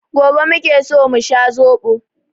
Gobe muke so mu sha zobo.